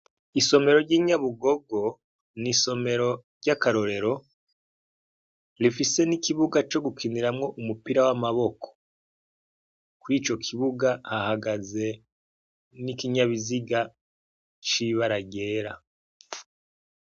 Isomero ry'inyabugogo n'isomero ry'akarorero rifise n'ikibuga co gukiniramwo umupira w'amaboko kwico kubuga hahagaze n'ikinyabiziga c'ibara ryera.